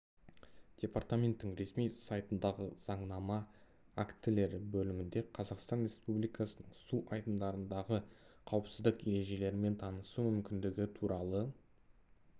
департаменттің ресми сайтындағы заңнама актілері бөлімінде қазақстан республикасының су айдындардағы қауіпсіздік ережелерімен танысу мүмкіндігі туралы